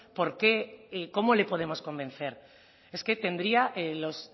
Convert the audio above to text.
por qué cómo le podemos convencer es que tendría los